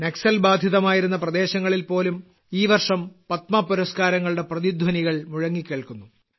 നക്സൽ ബാധിതമായിരുന്ന പ്രദേശങ്ങളിൽപോലും ഈ വർഷം പത്മ പുരസ്കാരങ്ങളുടെ പ്രതിധ്വനികൾ മുഴങ്ങികേൾക്കുന്നു